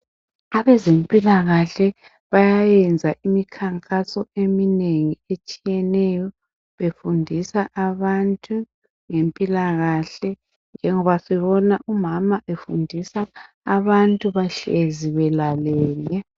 Abezempilakahle bayayenza imikhankaso eminengi etshiyeneyo befundisa abantu ngempilakahle ngoba sibona umama efundisa abantu behlezi belalele.